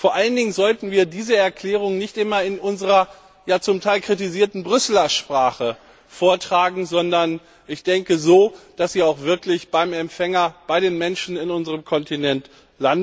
Vor allen Dingen sollten wir diese Erklärungen nicht immer in unserer zum Teil kritisierten Brüsseler Sprache vortragen, sondern so, dass sie auch wirklich beim Empfänger, bei den Menschen auf unserem Kontinent ankommen.